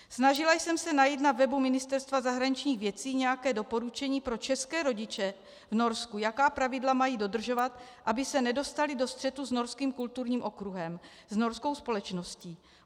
Snažila jsem se najít na webu Ministerstva zahraničních věcí nějaké doporučení pro české rodiče v Norsku, jaká pravidla mají dodržovat, aby se nedostali do střetu s norským kulturním okruhem, s norskou společností.